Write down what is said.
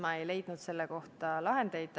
Ma ei leidnud selle kohta lahendeid.